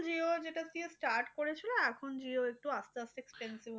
jio যেটা দিয়ে start করেছিল এখন jio একটু আসতে আসতে expensive